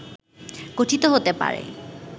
গঠিত হতে পারে